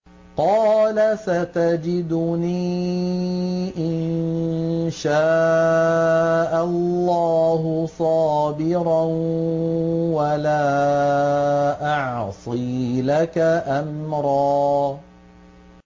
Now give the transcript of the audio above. قَالَ سَتَجِدُنِي إِن شَاءَ اللَّهُ صَابِرًا وَلَا أَعْصِي لَكَ أَمْرًا